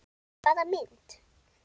Hvaða mynd?